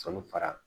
Sɔlu fara